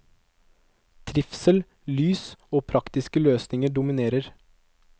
Trivsel, lys og praktiske løsninger dominerer.